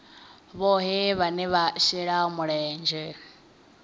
vhohe vhane vha shela mulenzhe